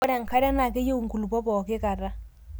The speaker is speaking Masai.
ore enkare naa keyiu inkulopok pooki kata